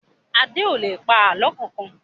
Adé ò lè pa àlọ́ kankan